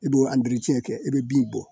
I b'o kɛ i bɛ bin bɔ